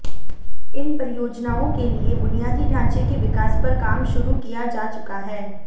इन परियोजनाओं के लिए बुनियादी ढांचे के विकास पर काम शुरू किया जा चुका है